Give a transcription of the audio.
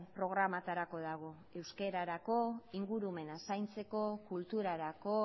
programatarako dago euskararako ingurumena zaintzeko kulturarako